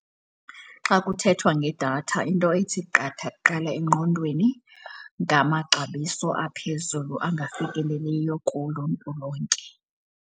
Xa kuthethwa ngedatha into ethi qatha kuqala engqondweni ngamaxabiso aphezulu angafikeleliyo kuluntu lonke.